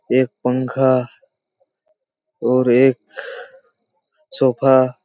एक पंखा और एक सोफ़ा